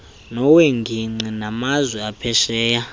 nowengingqi namazwe aphesheya